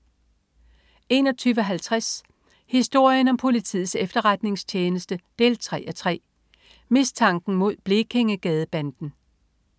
21.50 Historien om politiets efterretningstjeneste 3:3. Mistanken mod Blekingegadebanden